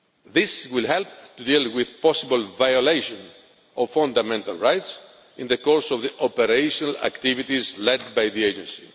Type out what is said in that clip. This will help to deal with possible violations of fundamental rights in the course of operational activities led by the agency.